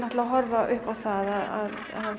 að horfa upp á að